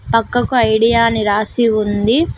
పక్కకు ఐడియా అని రాసి ఉంది.